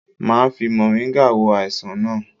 Máa fi moringa wo àìsàn naa